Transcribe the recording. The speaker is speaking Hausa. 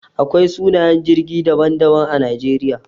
Akwai sunayen jirgi daban-daban a Najeriya.